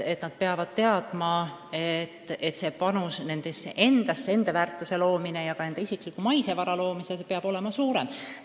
Nad teavad, et nende panus nendesse endasse, enda väärtuse ja ka oma isikliku maise vara suurendamisse peab olema suurem.